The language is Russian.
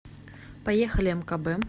поехали мкб